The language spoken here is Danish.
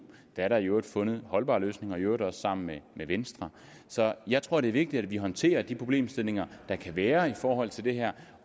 er der i øvrigt fundet en holdbar løsning og i øvrigt også sammen med med venstre så jeg tror at det er vigtigt at vi håndterer de problemstillinger der kan være i forhold til det her